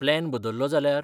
Plan बदललो जाल्यार ?